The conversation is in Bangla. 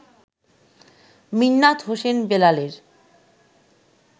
মিন্নাত হোসেন বেলালের